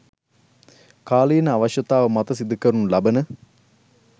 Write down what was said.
කාලීන අවශ්‍යතාව මත සිදුකරනු ලබන